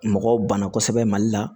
Mɔgɔw banna kosɛbɛ mali la